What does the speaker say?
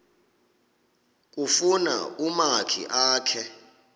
kufuna umakhi akhe